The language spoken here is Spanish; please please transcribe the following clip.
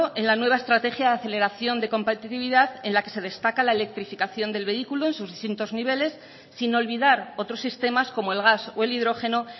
en la nueva estrategia de aceleración de compatibilidad en la que se destaca la electrificación de los vehículos en sus distintos niveles sin olvidar otros sistemas como el gas y el hidrogeno